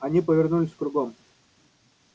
они повернулись кругом